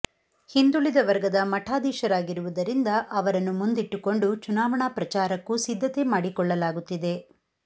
ಹಿಂದುಳಿದ ವರ್ಗದ ಮಠಾಧೀಶರಾಗಿರುವುದರಿಂದ ಅವರನ್ನು ಮುಂದಿಟ್ಟುಕೊಂಡು ಚುನಾವಣಾ ಪ್ರಚಾರಕ್ಕೂ ಸಿದ್ಧತೆ ಮಾಡಿಕೊಳ್ಳಲಾಗುತ್ತಿದೆ